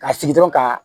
Ka sigi dɔrɔn ka